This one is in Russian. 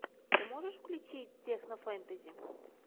ты можешь включить технофэнтези